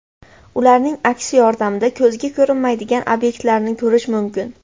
Ularing aksi yordamida ko‘zga ko‘rinmaydigan obyektlarni ko‘rish mumkin.